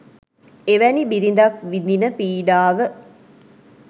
එවැනි බිරිඳක් විඳින පීඩාව